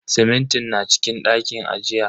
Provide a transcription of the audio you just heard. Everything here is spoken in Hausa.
Simintin na cikin ɗakin ajiya.